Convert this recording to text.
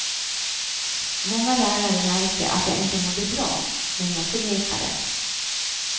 Många lärare märkte att jag inte mådde bra, men jag förnekade.